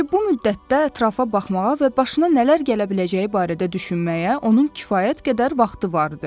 Çünki bu müddətdə ətrafa baxmağa və başına nələr gələ biləcəyi barədə düşünməyə onun kifayət qədər vaxtı vardı.